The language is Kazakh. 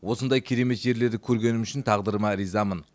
осындай керемет жерлерді көргенім үшін тағдырыма ризамын